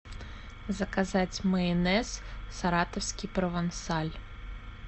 заказать майонез саратовский провансаль